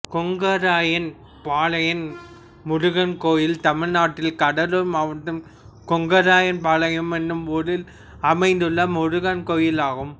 கொங்கராயன்பாளையம் முருகன் கோயில் தமிழ்நாட்டில் கடலூர் மாவட்டம் கொங்கராயன்பாளையம் என்னும் ஊரில் அமைந்துள்ள முருகன் கோயிலாகும்